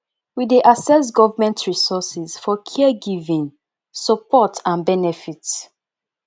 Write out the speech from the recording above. we dey access government resources for care giving support and benefit